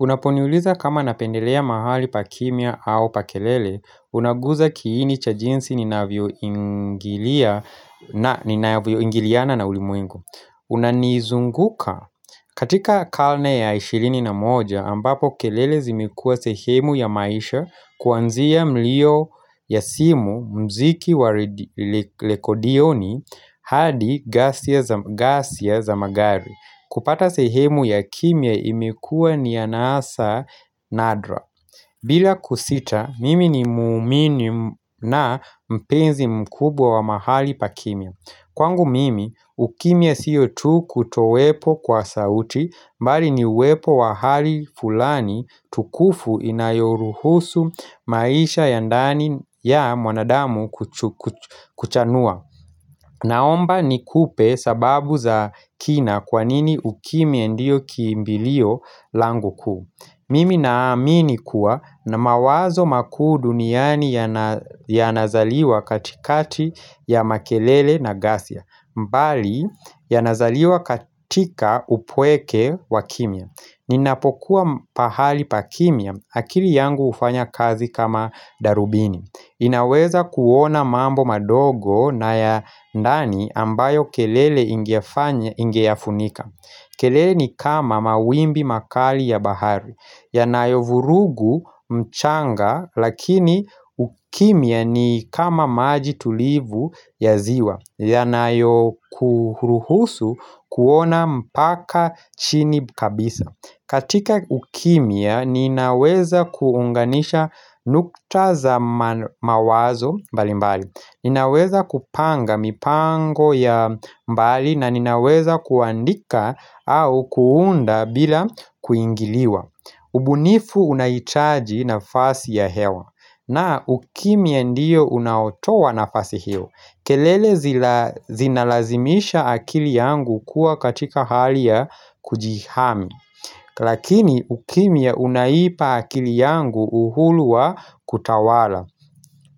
Unaponiliza kama napendelea mahali pa kimya au pa kelele, unageuza kiini cha jinsi ninavyo ingiliana na ulimuingu. Unanizunguka. Katika kalne ya ishilini na moja, ambapo kelele zimekua sehemu ya maisha kuanzia mlio ya simu mziki wa lekodioni hadi gasia za magari. Kupata sehemu ya kimya imekua ni ya nasa nadra. Bila kusita, mimi ni muumini na mpenzi mkubwa wa mahali pa kimya. Kwangu mimi, ukimia siyo tu kutowepo kwa sauti mbali ni uwepo wa hali fulani tukufu inayoruhusu maisha yandani ya mwanadamu kuchanua. Naomba ni kupe sababu za kina kwanini ukimya ndiyo kiimbilio langu kuu. Mimi naamini kuwa na mawazo makuu duniani ya nazaliwa katikati ya makelele na gasia. Mbali ya nazaliwa katika upweke wa kimya. Ninapokuwa pahali pakimya, akili yangu ufanya kazi kama darubini inaweza kuona mambo madogo na ya ndani ambayo kelele ingiafunika kelele ni kama mawimbi makali ya bahari yanayo vurugu mchanga lakini ukimya ni kama maji tulivu ya ziwa yanayo kuhuruhusu kuona mpaka chini kabisa katika ukimia ninaweza kuunganisha nukta za mawazo mbali mbali Ninaweza kupanga mipango ya mbali na ninaweza kuandika au kuunda bila kuingiliwa ubunifu unaitaji na fasi ya hewa na ukimya ndiyo unautowa na fasi hiyo kelele zinalazimisha akili yangu kuwa katika hali ya kujihami Lakini ukimya unaipa akili yangu uhuluwa kutawala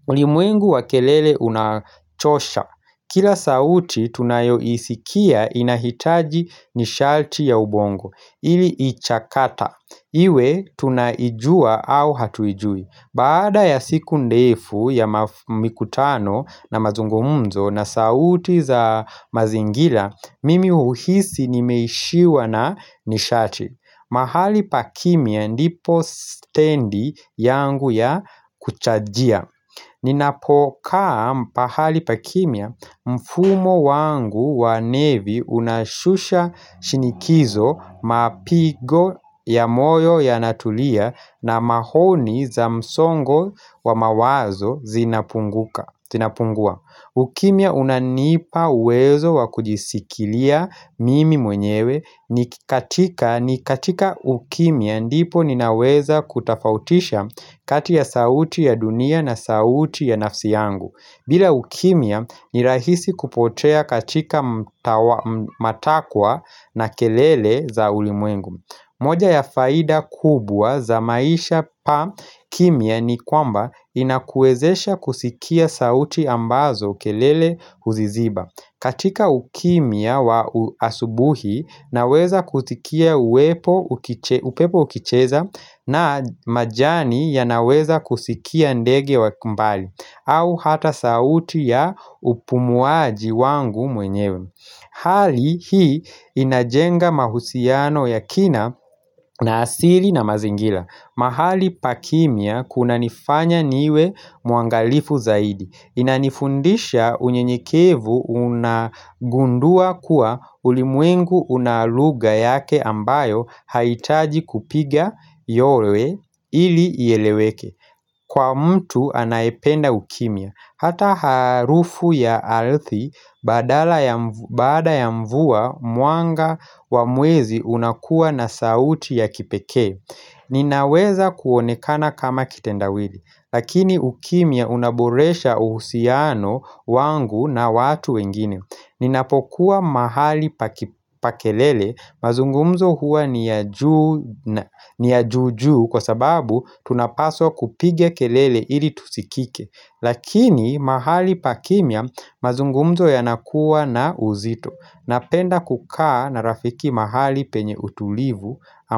ulimwengu wa kelele unachosha Kila sauti tunayo isikia inahitaji nishati ya ubongo ili ichakata Iwe tunaijua au hatuijui Baada ya siku ndefu ya mikutano na mazungumzo na sauti za mazingira Mimi uhuhisi nimeishiwa na nishati mahali pakimya ndipo stendi yangu ya kuchajia Ninapokaa mpahali pakimya mfumo wangu wa nevi unashusha shinikizo mapigo ya moyo ya natulia na mahoni za msongo wa mawazo zinapungua, ukimya unanipa uwezo wa kujisikilia mimi mwenyewe ni katika ukimya ndipo ninaweza kutafautisha kati ya sauti ya dunia na sauti ya nafsi yangu bila ukimya ni rahisi kupotea katika matakwa na kelele za ulimwengu moja ya faida kubwa za maisha pa kimya ni kwamba inakuezesha kusikia sauti ambazo kelele uziziba katika ukimya wa asubuhi naweza kutikia upepo ukicheza na majani ya naweza kusikia ndege wa kumbali au hata sauti ya upumuaji wangu mwenyewe Hali hii inajenga mahusiano ya kina na asili na mazingila mahali pakimya kuna nifanya niwe muangalifu zaidi Inanifundisha unye nyekevu unagundua kuwa ulimwengu unaluga yake ambayo haitaji kupiga yowe ili yeleweke Kwa mtu anaependa ukimya Hata harufu ya ardhi badala ya mvua muanga wa muwezi unakuwa na sauti ya kipeke Ninaweza kuonekana kama kitendawili Lakini ukimya unaboresha uhusiano wangu na watu wengine Ninapokuwa mahali pa kelele mazungumzo hua ni ya juu na ni ya juju kwa sababu tunapaswa kupige kelele ili tusikike Lakini mahali pakimya mazungumzo yanakuwa na uzito Napenda kukaa na rafiki mahali penye utulivu.